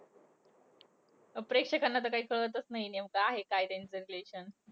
प्रेक्षकांना तर काही कळतचं नाहीये. नेमकं आहे काय त्यांचं relation.